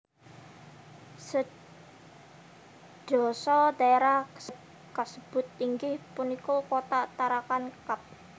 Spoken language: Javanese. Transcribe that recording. Sedasa daerah kasebut inggih punika Kota Tarakan Kab